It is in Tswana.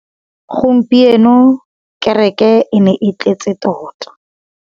Gompieno kêrêkê e ne e tletse tota.